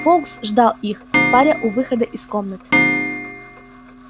фоукс ждал их паря у выхода из комнаты